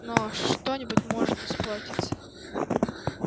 но что-нибудь может испортиться